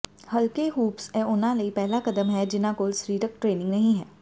ਹਲਕੇ ਹੂਪਸ ਇਹ ਉਨ੍ਹਾਂ ਲਈ ਪਹਿਲਾ ਕਦਮ ਹੈ ਜਿਨ੍ਹਾਂ ਕੋਲ ਸਰੀਰਕ ਟ੍ਰੇਨਿੰਗ ਨਹੀਂ ਹੈ